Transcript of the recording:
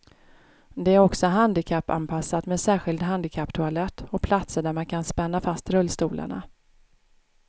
Det är också handikappanpassat med särskild handikapptoalett och platser där man kan spänna fast rullstolarna.